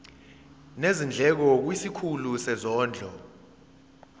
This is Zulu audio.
nezindleko kwisikhulu sezondlo